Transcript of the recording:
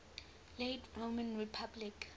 late roman republic